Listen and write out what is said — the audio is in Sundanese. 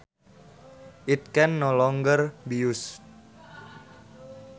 It can no longer be used